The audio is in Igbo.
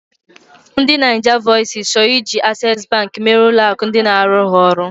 Ndi Nigervoices chọrọ iji Access bank mere ụlọ akụ ndị na-arụrụ ha oru.